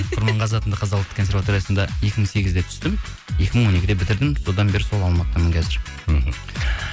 құрманғазы атындағы қазақ ұлттық консерваториясында екі мың сегізде түстім екі мың он екіде бітірдім содан бері сол алматыдамын қазір мхм